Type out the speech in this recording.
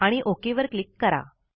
आणि ओक वर क्लिक करा